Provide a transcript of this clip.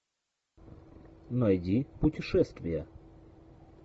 найди путешествия